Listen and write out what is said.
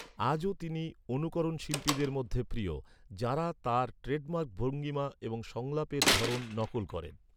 আজও তিনি অনুকরণশিল্পীদের মধ্যে প্রিয়, যাঁরা তাঁর ট্রেডমার্ক ভঙ্গিমা এবং সংলাপের ধরণ নকল করেন।